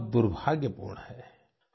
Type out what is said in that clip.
यह बहुत दुर्भाग्यपूर्ण है